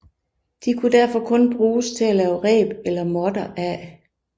De kunne derfor kun bruges til at lave reb eller måtter af